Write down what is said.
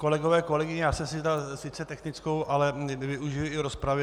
Kolegové, kolegyně, já jsem si vzal sice technickou, ale využiji i rozpravy.